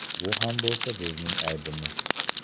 Bu ham bo‘lsa bizning aybimiz.